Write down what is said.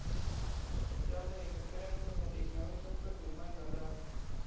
यामुळे शेतकऱ्यांसमोर एक नवे संकट निर्माण झालं आहे.